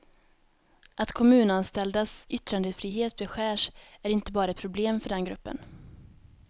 Att kommunanställdas yttrandefrihet beskärs är inte bara ett problem för den gruppen.